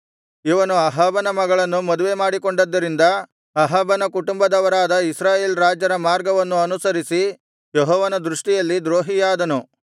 ಇವನು ಅಹಾಬನ ಮಗಳನ್ನು ಮದುವೆಮಾಡಿಕೊಂಡದ್ದರಿಂದ ಅಹಾಬನ ಕುಟುಂಬದವರಾದ ಇಸ್ರಾಯೇಲ್ ರಾಜರ ಮಾರ್ಗವನ್ನು ಅನುಸರಿಸಿ ಯೆಹೋವನ ದೃಷ್ಟಿಯಲ್ಲಿ ದ್ರೋಹಿಯಾದನು